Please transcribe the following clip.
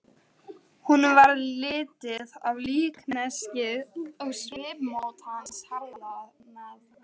Suður á bílastæðinu voru Norðmenn að taka hvorn annan afsíðis.